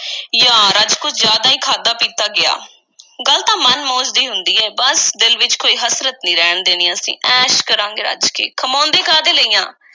ਯਾਰ, ਅੱਜ ਕੁਝ ਜ਼ਿਆਦਾ ਈ ਖਾਧਾ-ਪੀਤਾ ਗਿਆ, ਗੱਲ ਤਾਂ ਮਨ ਮੌਜ ਦੀ ਹੁੰਦੀ ਏ। ਬੱਸ ਦਿਲ ਵਿੱਚ ਕੋਈ ਹਸਰਤ ਨਹੀਂ ਰਹਿਣ ਦੇਣੀ, ਅਸੀਂ। ਐਸ਼ ਕਰਾਂਗੇ ਰੱਜ ਕੇ, ਕਮਾਉਂਦੇ ਕਾਹਦੇ ਲਈ ਆਂ।